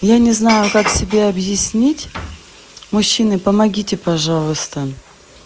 я не знаю как тебе объяснить мужчины помогите пожалуйста